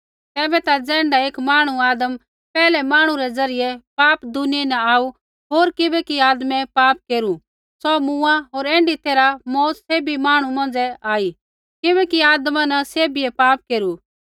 तैबै ता ज़ैण्ढा एक मांहणु आदम पैहलै मांहणु रै ज़रियै पाप दुनिया न आऊ होर किबैकि आदमै पाप केरू सौ मूँआ होर ऐण्ढी तैरहै मौत सैभी मांहणु मौंझ़ै आई किबैकि आदमा न सैभिए पाप केरू